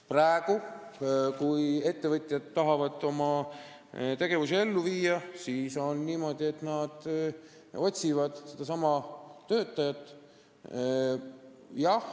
Praegu, kui ettevõtjad tahavad oma plaane ellu viia, siis on niimoodi, et nad otsivad töötajaid.